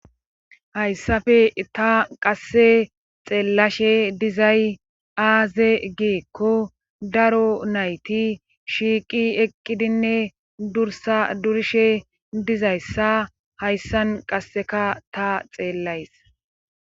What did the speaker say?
Hayssafe ta qasse xeellashe dizay aaze geekko daro nayti shiiqi eqqidinne dursa durishe dizayssa hayssan qasseka ta xeellays.